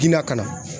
Gila ka na